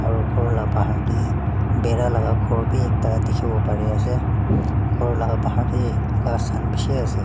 aro ghor la bahar tae bhaera la khor bi ekta dikhiwo parease ghor la bahar tae ghas khan bishi ase.